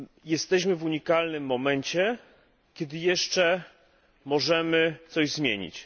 Jesteśmy w unikalnym momencie, kiedy jeszcze możemy coś zmienić.